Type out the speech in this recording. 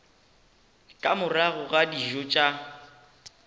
ka morago ga dijo tša